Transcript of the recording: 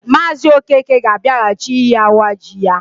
Maazi Okeke ga abiaghachi iyi awa ji ya.